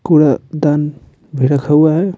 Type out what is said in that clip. कुड़ा दान भी रखा हुआ है।